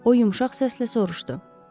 O yumşaq səslə soruşdu.